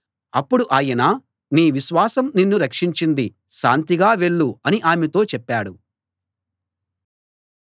అప్పుడు ఆయన నీ విశ్వాసం నిన్ను రక్షించింది శాంతిగా వెళ్ళు అని ఆమెతో చెప్పాడు